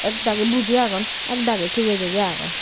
ekdagi buji agon ekdagi tigey tigey agon.